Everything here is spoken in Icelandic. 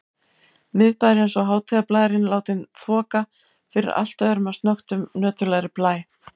Miðbæjarins og hátíðarblærinn látinn þoka fyrir allt öðrum og snöggtum nöturlegri blæ.